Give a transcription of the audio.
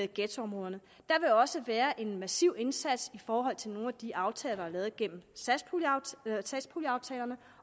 ghettoområderne der vil også være en massiv indsats i forhold til nogle af de aftaler der er lavet gennem satspuljeaftalerne